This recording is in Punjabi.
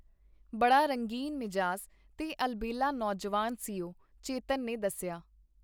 ਬੜਾ ਰੰਗੀਨ-ਮਿਜ਼ਾਜ ਤੇ ਅਲਬੇਲਾ ਨੌਜਵਾਨ ਸੀ ਉਹ, ਚੇਤਨ ਨੇ ਦੱਸਿਆ.